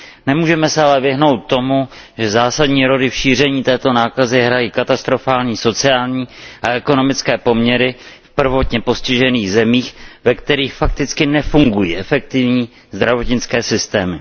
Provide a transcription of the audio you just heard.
Nemůžeme se ale vyhnout tomu, že zásadní roli v šíření této nákazy hrají katastrofální sociální a ekonomické poměry v prvotně postižených zemích, ve kterých fakticky nefungují efektivní zdravotnické systémy.